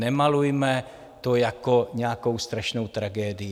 Nemalujme to jako nějakou strašnou tragédii.